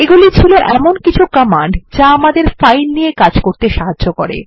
এগুলি ছিল এমন কিছু কমান্ড যা আমাদের ফাইল নিয়ে কাজ করতে সাহায্য করে